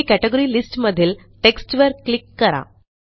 येथे category list मधील text वर क्लिक करा